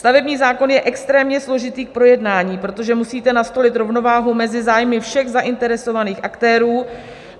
Stavební zákon je extrémně složitý k projednání, protože musíte nastolit rovnováhu mezi zájmy všech zainteresovaných aktérů.